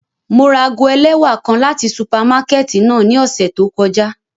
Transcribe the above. Mo ra aago ẹlẹwa kan lati supamakẹti náa ni ọsẹ to kọja.